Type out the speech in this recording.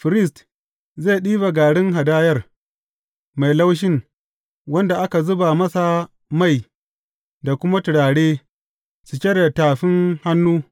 Firist zai ɗiba garin hadayar mai laushin wanda aka zuba masa mai da kuma turare cike da tafin hannu.